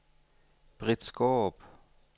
Britt Skaarup